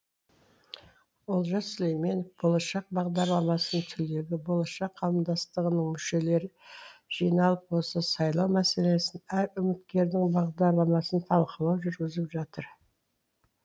олжас сүлейменов болашақ бағдарламасының түлегі болашақ қауымдастығының мүшелері жиналып осы сайлау мәселесін әр үміткердің бағдарламасын талқылау жүргізіп жатыр